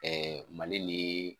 mali ni